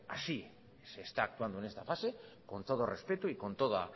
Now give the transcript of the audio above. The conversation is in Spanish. así se está actuando en esta fase con todo respeto y con toda